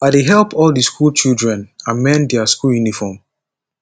i dey help all di skool children amend their school uniform